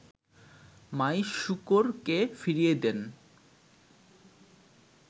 মাইশুকুরকে ফিরিয়ে দেন